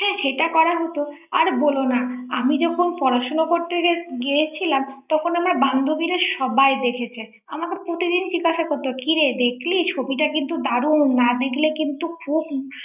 হ্যাঁ সেটা করাই হতো আর বলো না আমি যখন পড়াশোনা করতে গিয়েছিলাম তখন আমার বান্ধবীরা সবাই দেখেছে আমাকে প্রতিদিন জিজ্ঞাসা করতো কিরে দেখলি ছবিটা কিন্তু দারুন না দেখলে খুব